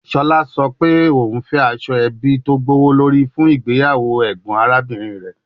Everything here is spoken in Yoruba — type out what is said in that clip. Shola sọ pe o fẹ aso ebi gbowolori fun igbeyawo awọn arabinrin rẹ